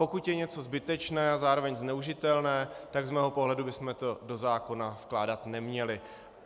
Pokud je něco zbytečné a zároveň zneužitelné, tak z mého pohledu bychom to do zákona vkládat neměli.